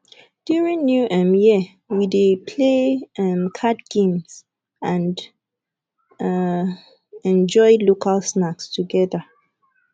during new um year we dey play um card games and um enjoy local snacks together